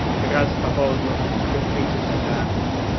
как раз по поводу тюрьмы и тесака